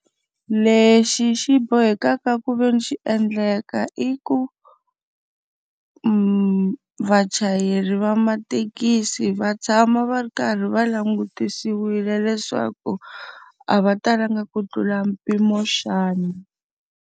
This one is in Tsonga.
Lexi xi bohekaka ku ve ni xi endleka i ku, vachayeri va mathekisi va tshama va ri karhi va langutisiwile leswaku a va talanga ku tlula mpimo xana.